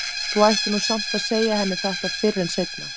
Þú ættir nú samt að segja henni þetta fyrr en seinna.